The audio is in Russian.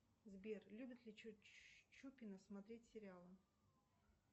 сбер любит ли чупина смотреть сериалы